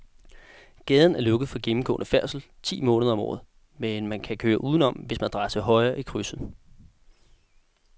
Gaden er lukket for gennemgående færdsel ti måneder om året, men man kan køre udenom, hvis man drejer til højre i krydset.